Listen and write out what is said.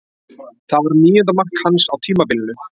Það var níunda mark hans á tímabilinu.